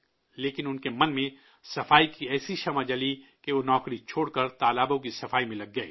لیکن ان کے من میں صفائی کی ایک ایسی روشنی پیدا ہوئی کہ وہ نوکری چھوڑ کر تالابوں کی صفائی میں جٹ گئے